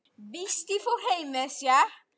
Fundað verður aftur í dag.